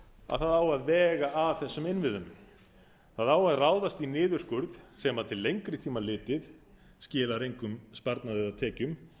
að það á að vega að þessum innviðum það á að ráðast í niðurskurð sem til lengri tíma litið skilar engum sparnaði eða tekjum